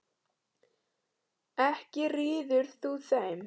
Ekki ríður þú þeim.